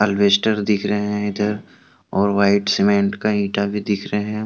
Wester दिख रहे है इधर और व्हाइट सीमेंट का ईटा भी दिख रहे है।